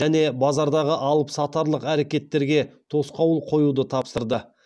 және базардағы алыпсатарлық әрекеттерге тосқауыл қоюды тапсырды